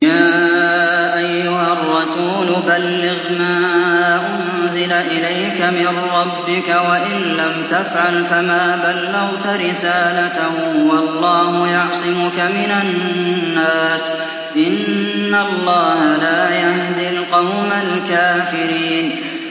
۞ يَا أَيُّهَا الرَّسُولُ بَلِّغْ مَا أُنزِلَ إِلَيْكَ مِن رَّبِّكَ ۖ وَإِن لَّمْ تَفْعَلْ فَمَا بَلَّغْتَ رِسَالَتَهُ ۚ وَاللَّهُ يَعْصِمُكَ مِنَ النَّاسِ ۗ إِنَّ اللَّهَ لَا يَهْدِي الْقَوْمَ الْكَافِرِينَ